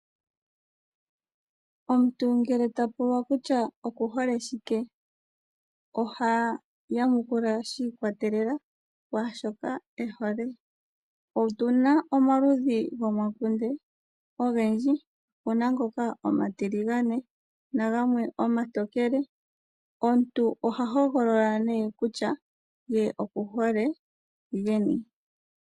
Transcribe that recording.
Omuntu ngele ta pulwa kutya okuhole shike ? oha yamukula shi ikwatelela kwaashoka e hole. Otuna omaludhi gomakunde ogendji opuna ngoka omatiligane nagamwe omatokele. Omuntu oha hogolola nee kutya ye okuhole geni.